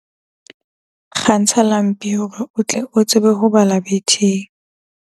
Kgantsha lampi hore o tle o tsebe ho bala betheng.